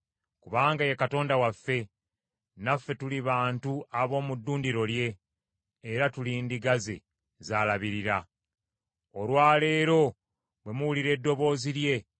Kubanga ye Katonda waffe, naffe tuli bantu ab’omu ddundiro lye, era tuli ndiga ze z’alabirira. Olwa leero bwe muwulira eddoboozi lye,